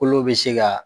Kolo bɛ se ka